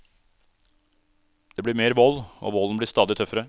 Det blir mer vold, og volden blir stadig tøffere.